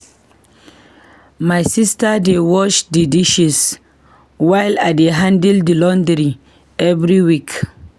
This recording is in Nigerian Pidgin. My sister dey wash the dishes, while I dey handle the laundry every week.